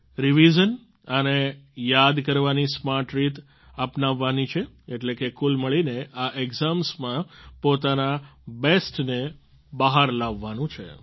revision અને યાદ કરવાની સ્માર્ટ રીત અપનાવવાની છે એટલે કે કુલ મળીને આ એક્ઝામ્સમાં પોતાના બેસ્ટને બહાર લાવવાનું છે